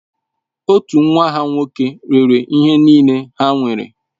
Otu nwa ha nwoke rere ihe niile ha nwere.